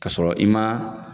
K'a sɔrɔ sɔrɔ i ma